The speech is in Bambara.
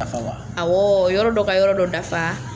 Awɔ, yɔrɔ dɔ ka yɔrɔ dɔ dafa.